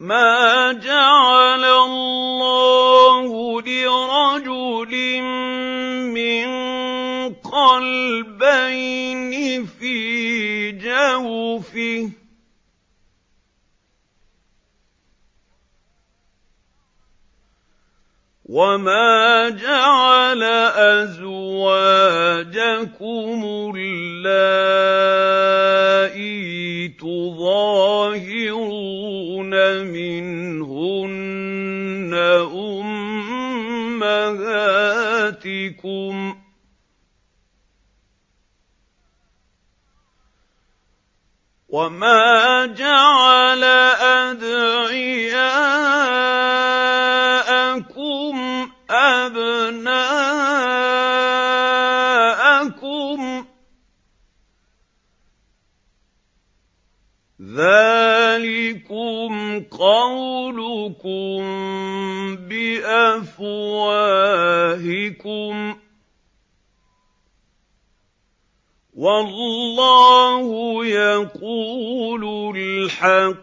مَّا جَعَلَ اللَّهُ لِرَجُلٍ مِّن قَلْبَيْنِ فِي جَوْفِهِ ۚ وَمَا جَعَلَ أَزْوَاجَكُمُ اللَّائِي تُظَاهِرُونَ مِنْهُنَّ أُمَّهَاتِكُمْ ۚ وَمَا جَعَلَ أَدْعِيَاءَكُمْ أَبْنَاءَكُمْ ۚ ذَٰلِكُمْ قَوْلُكُم بِأَفْوَاهِكُمْ ۖ وَاللَّهُ يَقُولُ الْحَقَّ